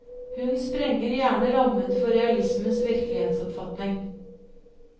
Hun sprenger gjerne rammen for realismens virkelighetsoppfatning.